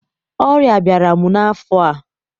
Ọrịa abịara m n'afọ a